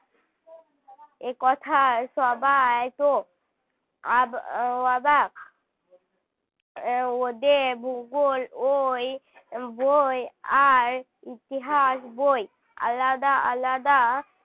একথায় সবাই তো অব~ অবাক ওদের ভূগোল ঐ বই আর ইতিহাস বই আলাদা আলাদা